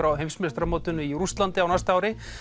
á heimsmeistaramótinu í Rússlandi á næsta ári